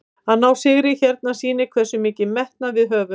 Að ná sigri hérna sýnir hversu mikinn metnað við höfum.